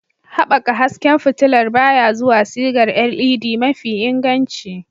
Haɓaka hasken fitilar baya zuwa sigar LED mafi inganci.